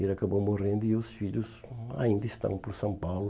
Ele acabou morrendo e os filhos ainda estão por São Paulo.